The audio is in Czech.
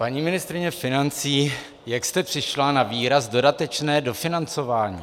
Paní ministryně financí, jak jste přišla na výraz dodatečné dofinancování?